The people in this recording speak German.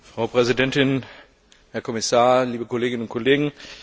Frau Präsidentin, Herr Kommissar, liebe Kolleginnen und Kollegen!